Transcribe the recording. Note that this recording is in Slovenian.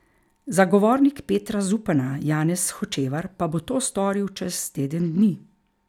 Zagovornik Petra Zupana Janez Hočevar pa bo to storil čez teden dni.